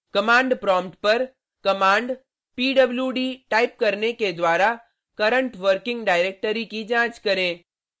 command prompt पर command pwd type करने के द्वारा करंट वर्किंग डायरेक्टरी की जांच करें